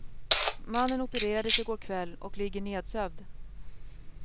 Mannen opererades i går kväll och ligger nedsövd.